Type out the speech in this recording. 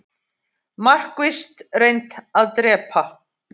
Markvisst reynt að drepa